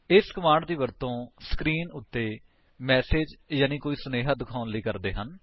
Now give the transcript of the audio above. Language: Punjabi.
ਇਸ ਕਮਾਂਡ ਦੀ ਵਰਤੋ ਸਕਰੀਨ ਉੱਤੇ ਮੈਸੇਜ ਯਾਨੀ ਕੋਈ ਸੁਨੇਹਾ ਦਿਖਾਉਣ ਲਈ ਕਰਦੇ ਹਨ